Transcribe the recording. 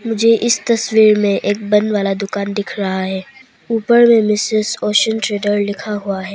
मुझे इस तस्वीर में एक बंद वाला दुकान दिख रहा है ऊपर में ट्रेड्स लिखा हुआ है।